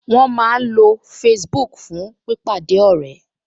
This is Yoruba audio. Wọ́n máa ń lo Facebook fún pípàdé ọ̀rẹ́